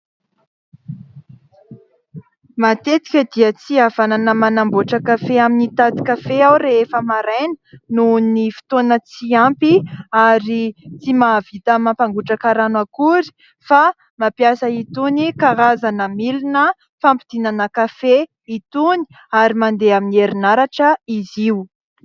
Matetika dia tsy havanana manamboatra kafe amin'ny tanty kafe aho rehefa maraina noho ny fotoana tsy ampy ary tsy mahavita mampangotraka rano akory fa mampiasa itony karazana milina fampidinana kafe itony ary mandeha amin'ny herinaratra izy io.